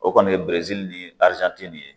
O kɔni ye ni nin ye